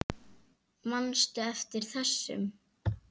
Manstu eftir þessum?